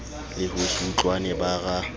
le ho se utlwane bara